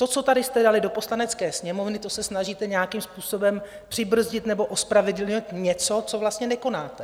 To, co tady jste dali do Poslanecké sněmovny, to se snažíte nějakým způsobem přibrzdit nebo ospravedlnit něco, co vlastně nekonáte.